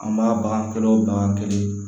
An b'a bagan kelen o bagan kelen